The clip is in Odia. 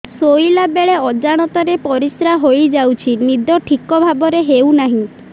ଶୋଇଲା ବେଳେ ଅଜାଣତରେ ପରିସ୍ରା ହୋଇଯାଉଛି ନିଦ ଠିକ ଭାବରେ ହେଉ ନାହିଁ